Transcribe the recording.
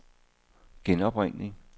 genopringning